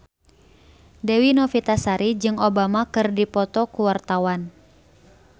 Dewi Novitasari jeung Obama keur dipoto ku wartawan